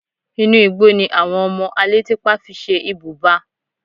Inú igbó ni àwọn ọmọ alétípá fi ṣe ibùba